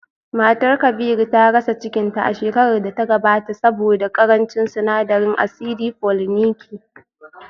Matar Kabiru ta rasa cikinta a shekarar da ta gabata saboda karancin sinadarin asidi foliniki